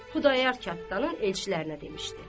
Xudayar Kəddanın elçilərinə demişdi.